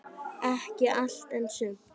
Ekki allt, en sumt.